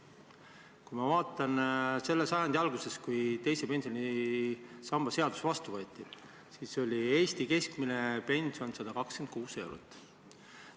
Kui ma vaatan selle sajandi algust, kui teise pensionisamba seadus vastu võeti, siis oli Eesti keskmine pension 126 eurot.